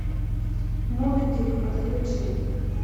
моби дик подключи